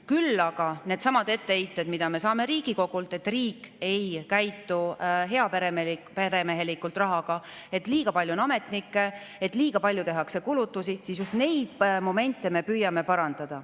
Küll aga oleme saanud Riigikogult etteheited, et riik ei käitu rahaga heaperemehelikult, et liiga palju on ametnikke, et liiga palju tehakse kulutusi, ja just neid momente me püüame parandada.